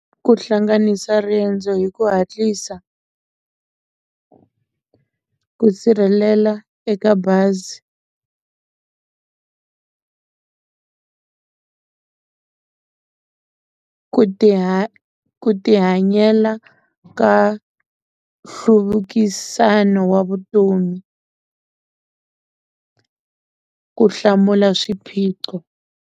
Ku hlanganisa riendzo hi ku hatlisa ku sirhelela eka bazi ku ti ku tihanyela ka nhluvukisano wa vutomi ku hlamula swiphiqo.